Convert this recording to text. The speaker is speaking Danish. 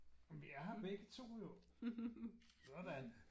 Jamen vi er her begge to jo. Sådan